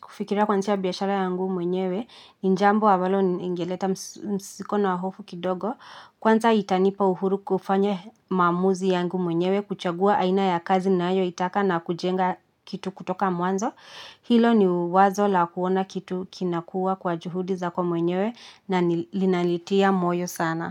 kufikiria kwanzisha biyashara yangu mwenyewe. Njambo ambalo ni ingeleta msiko na hofu kidogo. Kwanza itanipa uhuru kufanya maamuzi yangu mwenyewe. Kuchagua aina ya kazi nayo itaka na kujenga kitu kutoka mwanzo. Hilo ni wazo la kuona kitu kinakuwa kwa juhudi za kwa mwenyewe. Na nilinalitia moyo sana.